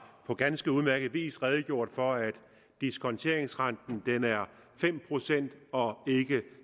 på ganske udmærket vis redegjort for at diskonteringsrenten er fem procent og ikke